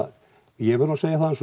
ég verð nú að segja það eins og